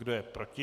Kdo je proti?